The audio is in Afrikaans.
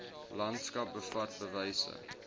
landskap bevat bewyse